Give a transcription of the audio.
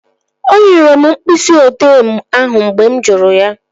O nyere m mkpịsị odee ahụ mgbe mụ jụrụ